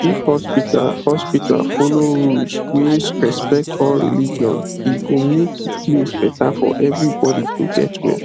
if hospital hospital follow rules wey respect all religion e go make the place better for everybody to get well